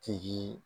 Tigi